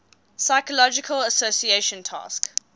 psychological association task